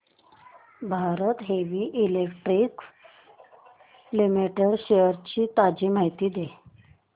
Bharat heavy electricals limited shares ची ताजी माहिती दे